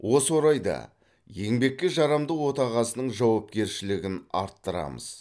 осы орайда еңбекке жарамды отағасының жауапкершілігін арттырамыз